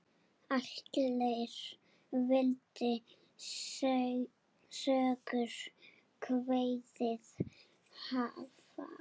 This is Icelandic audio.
Allir vildu Sögu kveðið hafa.